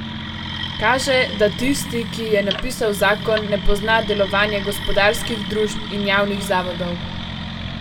Kaže, da tisti, ki je napisal zakon, ne pozna delovanja gospodarskih družb in javnih zavodov.